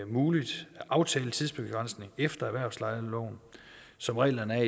muligt at aftale tidsbegrænsning efter erhvervslejeloven som reglerne er